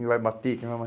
Quem vai bater? Quem vai